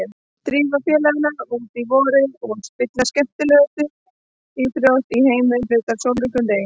Drífðu félagana út í vorið og spilið skemmtilegustu íþrótt í heimi hluta úr sólríkum degi.